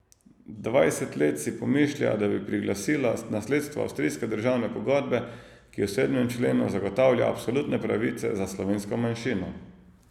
Dvajset let si pomišlja, da bi priglasila nasledstvo Avstrijske državne pogodbe, ki v sedmem členu zagotavlja absolutne pravice za slovensko manjšino.